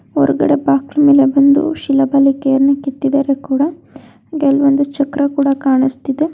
ಹೊರಗಡೆ ಬಾಗಿಲ ಮೇಲೆ ಒಂದು ಶಿಲಾಬಾಲಿಕೆಯನ್ನುಕೆತ್ತಿದಾರೆ ಕೂಡಾ ಕೆಲವೊಂದು ಚಕ್ರ ಕೂಡಾ ಕಾಣಿಸ್ತಾ ಇದೆ.